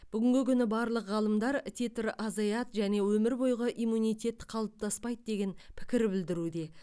бүгінгі күні барлық ғалымдар титр азаяды және өмір бойғы иммунитет қалыптаспайды деген пікір білдіруде